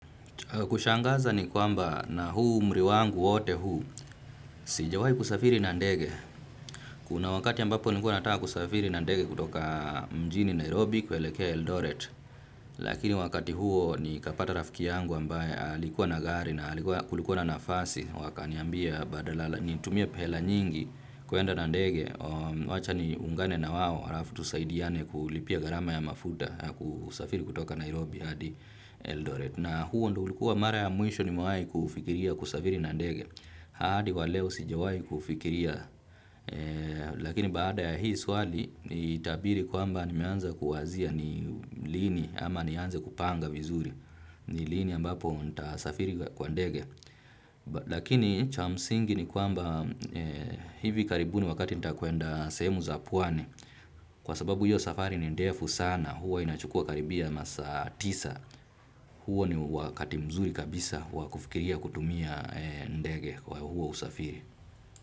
Kushangaza ni kwamba na huu umri wangu wote huu sijawai kusafiri na ndege. Kuna wakati ambapo nilikuwa nataka kusafiri na ndege kutoka mjini Nairobi kuelekea Eldoret. Lakini wakati huo nikapata rafiki yangu ambaye alikuwa na gari na kulikuwa na nafasi. Wakaniambia badala nitumie pe hela nyingi kwenda na ndege. Wacha niungane na wao arafu tusaidiane kulipia gharama ya mafuta kusafiri kutoka Nairobi hadi Eldoret. Na huo ndo ulikuwa mara ya mwisho nimewai kufikiria kusafiri na ndege. Haadi wa leo sijawai kuufikiria. Lakini baada ya hii swali, itabidi kwamba nimeanza kuwazia ni lini ama nianze kupanga vizuri. Ni lini ambapo ntasafiri kwa ndege. Lakini cha msingi ni kwamba hivi karibuni wakati nitakwenda sehemu za pwani. Kwa sababu hiyo safari ni ndefu sana, hua inachukua karibia masaa tisa. Huo ni wakati mzuri kabisa wa kufikiria kutumia ndege kwa huo usafiri.